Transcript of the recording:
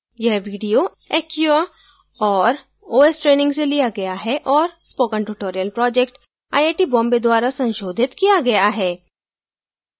यह video acquia और os training से लिया गया है और spoken tutorial project IIT Bombay द्वारा संशोधित किया गया है